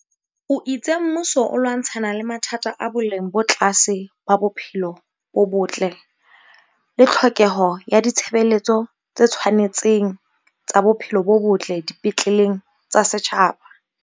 O itse mmuso o lwantshana le mathata a boleng bo tlase ba bophelo bo botle le tlhokeho ya ditshebeletso tse tshwane tseng tsa bophelo bo botle di petleleng tsa setjhaba.